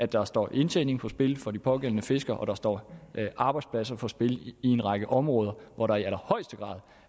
der står indtjening på spil for de pågældende fiskere og der står arbejdspladser på spil i en række områder hvor der i allerhøjeste grad